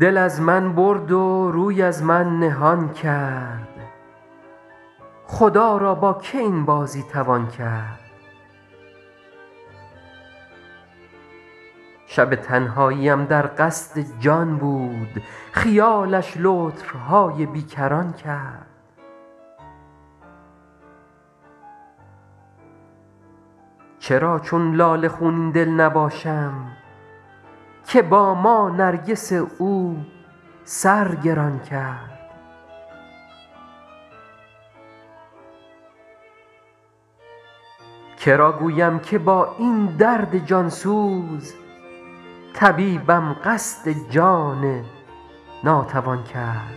دل از من برد و روی از من نهان کرد خدا را با که این بازی توان کرد شب تنهاییم در قصد جان بود خیالش لطف های بی کران کرد چرا چون لاله خونین دل نباشم که با ما نرگس او سر گران کرد که را گویم که با این درد جان سوز طبیبم قصد جان ناتوان کرد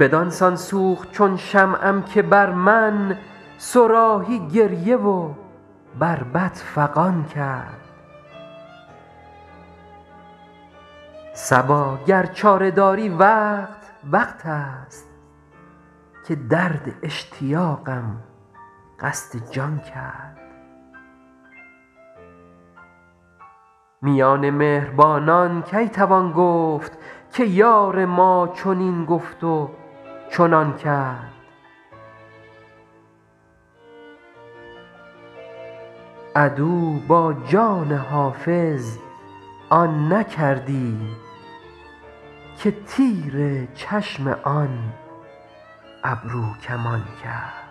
بدان سان سوخت چون شمعم که بر من صراحی گریه و بربط فغان کرد صبا گر چاره داری وقت وقت است که درد اشتیاقم قصد جان کرد میان مهربانان کی توان گفت که یار ما چنین گفت و چنان کرد عدو با جان حافظ آن نکردی که تیر چشم آن ابروکمان کرد